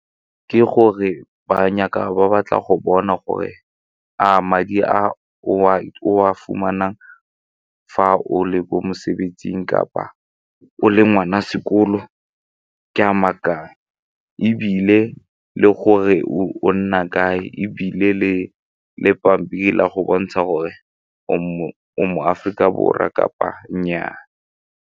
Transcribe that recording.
Ke gore ba batla go bona gore a madi a [? o a fumanang fa o le ko mosebetsing kapa o le ngwana sekolo ke a maaka ebile le gore o nna kae ebile le pampiri le a go bontsha gore o mo-Aforika Borwa kapa nnyaa.